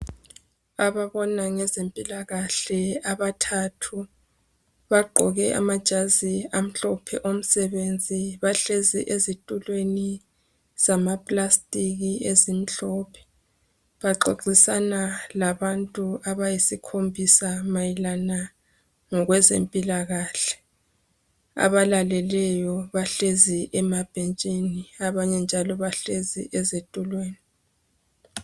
Ababona ngeze mpilakahle abathathu bagqoke amajazi amhlophe omsebenzi bahlezi ezitulweni zama plastic ezimhlophe bexoxisana labantu abayisikhombisa mayelana ngokwe zempilakahle abalaleleyo bahlezi emabhentshini abanye njalo bahlezi ezitulweni.